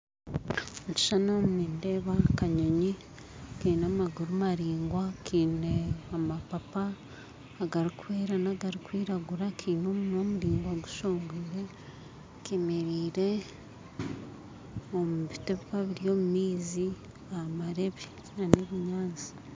omukishushani omu nindeeba akanyonyi Kiine amaguru maraingwa kiine amapapa agarukwera n'agarukwiragura kiine omunwa muraingwa gushongwire Kemereire omubiti ebikuba biri omumaizi aha marebe n'ebinyantsi.